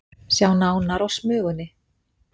Sjá nánar á Smugunni